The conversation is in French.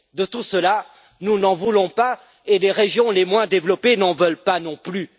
De tout cela, nous ne voulons pas, et les régions les moins développées n'en veulent pas non plus.